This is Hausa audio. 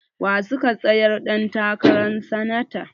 Wa suka tsayar ɗan takaran sanata?